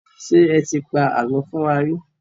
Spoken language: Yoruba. Ṣé ẹ ti pa àlọ́ fún wa rí?